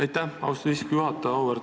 Aitäh, austatud istungi juhataja!